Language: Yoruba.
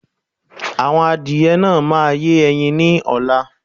Àwọn adìyẹ náà máa yẹ́ ẹyin ni ọ̀la